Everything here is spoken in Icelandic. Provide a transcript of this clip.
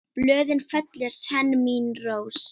Blöðin fellir senn mín rós.